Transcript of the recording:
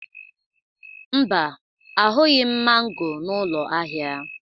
Mba, ahụghị m mango n'ụlọ ahịa.